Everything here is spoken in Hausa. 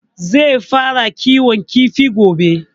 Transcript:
Zai fara kiwon kifi gobe